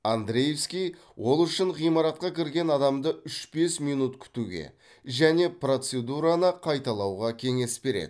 андриевский ол үшін ғимаратқа кірген адамды үш бес минут күтуге және процедураны қайталауға кеңес береді